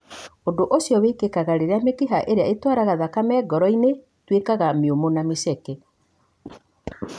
Ũndũ ũcio wĩkĩkaga rĩrĩa mĩkiha ĩrĩa ĩtwaraga thakame ngoro-inĩ ĩtuĩkaga mĩũmũ na mĩceke.